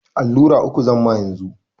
Allura uku zamma yanzu.